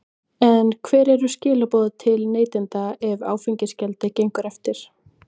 En hver eru skilaboð til neytenda ef áfengisgjaldið gengur eftir?